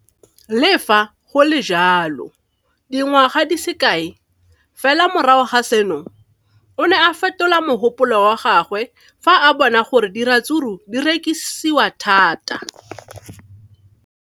Le fa go le jalo, dingwaga di se kae fela morago ga seno, o ne a fetola mogopolo wa gagwe fa a bona gore diratsuru di rekisiwa thata.